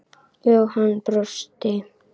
Jóhann brosti.